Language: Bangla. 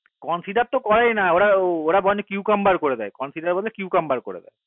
consider করেই না ওরা বরং q camber করে দেয় consider বলে q camber করে দেয়